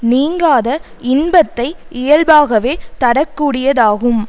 நீங்காத இன்பத்தை இயல்பாகவே தரக்கூடியதாகும்